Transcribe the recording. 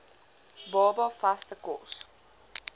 baba vaste kos